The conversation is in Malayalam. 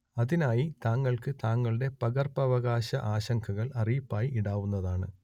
അതിനായി താങ്കൾക്ക് താങ്കളുടെ പകർപ്പവകാശ ആശങ്കകൾ അറിയിപ്പായി ഇടാവുന്നതാണ്